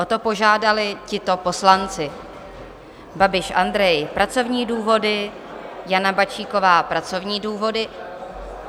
O to požádali tito poslanci: Babiš Andrej - pracovní důvody, Jana Bačíková - pracovní důvody...